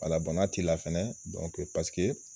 n'a t'i la fɛnɛ paseke